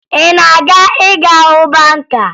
Ị na-aga ịga hụ banka?